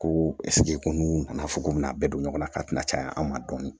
Ko ko n'u nana fo k'u bɛna a bɛ don ɲɔgɔnna ka tɛna caya an ma dɔɔni